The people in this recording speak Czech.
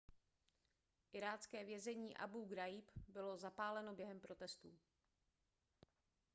irácké vězení abú ghraíb bylo zapáleno během protestů